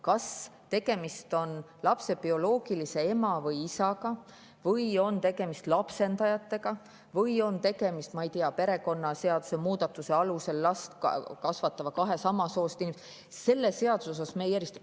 Kas tegemist on lapse bioloogilise ema või isaga või on tegemist lapsendajatega või on tegemist last kasvatava kahe samast soost inimesega, perekonnaseaduse muudatuse alusel – selle seaduse mõttes me neid ei erista.